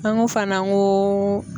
An ko fana n ko